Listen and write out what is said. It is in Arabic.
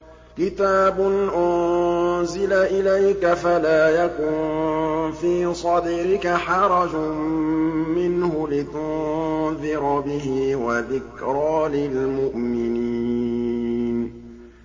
كِتَابٌ أُنزِلَ إِلَيْكَ فَلَا يَكُن فِي صَدْرِكَ حَرَجٌ مِّنْهُ لِتُنذِرَ بِهِ وَذِكْرَىٰ لِلْمُؤْمِنِينَ